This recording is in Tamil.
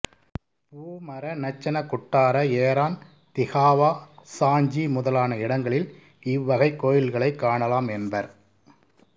பூமர நச்சனகுட்டார ஏரான் திகாவா சாஞ்சி முதலான இடங்களில் இவ்வகைக் கோயில்களைக் காணலாம் என்பர்